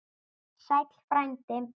Sæll frændi!